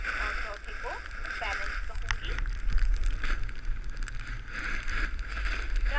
और चौथे को balance कहूँगी